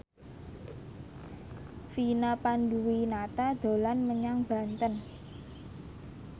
Vina Panduwinata dolan menyang Banten